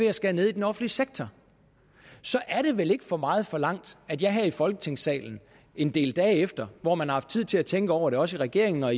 at skære ned i den offentlige sektor så er det vel ikke for meget forlangt at jeg her i folketingssalen en del dage efter hvor man har haft tid til at tænke over det også i regeringen og